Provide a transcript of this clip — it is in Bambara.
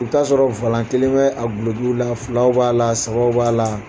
I b'i taa sɔrɔ kelen bɛ a gulekiw la filaw b'a la sabaw b'a la.